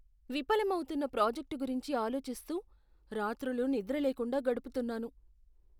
విఫలమౌతున్న project గురించి ఆలోచిస్తూ రాత్రులు నిద్రలేకుండా గడుపుతున్నాను.